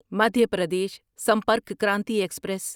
Madhya Pradesh Sampark Kranti express